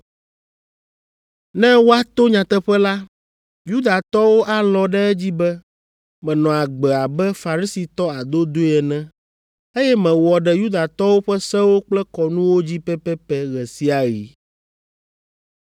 Ne woato nyateƒe la, Yudatɔwo alɔ̃ ɖe edzi be menɔ agbe abe Farisitɔ adodoe ene, eye mewɔ ɖe Yudatɔwo ƒe sewo kple kɔnuwo dzi pɛpɛpɛ ɣe sia ɣi.